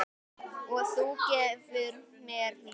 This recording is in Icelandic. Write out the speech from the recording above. Og þú gefur mér ljóð.